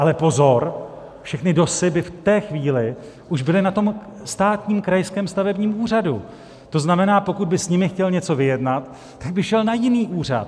Ale pozor, všechny DOSy by v té chvíli už byly na tom státním krajském stavebním úřadu, to znamená, pokud by s nimi chtěl něco vyjednat, tak by šel na jiný úřad.